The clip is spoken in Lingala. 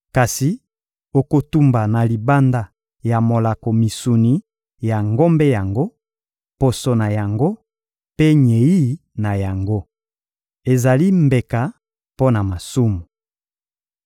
Kasi okotumba na libanda ya molako misuni ya ngombe yango, poso na yango mpe nyei na yango. Ezali mbeka mpo na masumu.